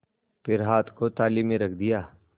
फिर हाथ को थाली में रख दिया